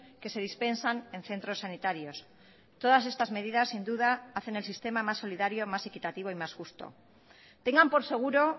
que se dispensan en centros sanitarios todas estas medidas sin duda hacen el sistema más solidario más equitativo y más justo tengan por seguro